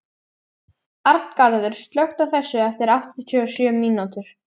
Arngarður, slökktu á þessu eftir áttatíu og sjö mínútur.